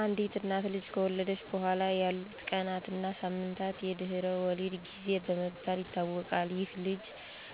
አንዲት እናት ልጅ ከወለደች በኋላ ያሉት ቀናት እና ሳምንታት የድህረ ወሊድ ጊዜ በመባል ይታወቃል። ይህም ልጅ